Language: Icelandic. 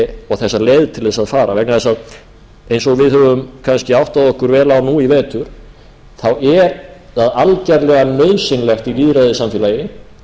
á og þessa leið til þess að fara vegna þess að eins og við höfum kannski áttað okkur vel á nú í vetur er það algerlega nauðsynlegt í lýðræðissamfélagi